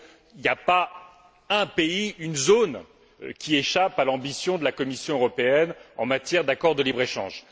Il n'y a pas un pays, pas une zone qui échappe à l'ambition de la Commission européenne en matière d'accord de libre échange.